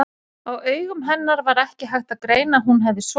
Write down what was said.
Á augum hennar var ekki hægt að greina að hún hefði sofið.